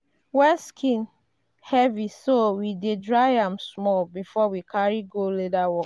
wet skin heavy so we dey dry am small before we carry go leather work.